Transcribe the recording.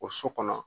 O so kɔnɔ